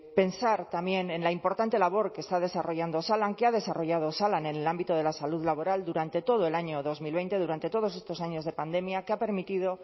pensar también en la importante labor que está desarrollando osalan que ha desarrollado osalan en el ámbito de la salud laboral durante todo el año dos mil veinte durante todos estos años de pandemia que ha permitido